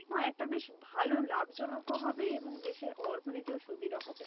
একটা বেশ ভালো লাভ জনক ও হবে এবং দেশের অর্থনীতিও সুদৃঢ় হবে